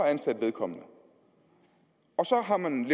at ansætte vedkommende og så har man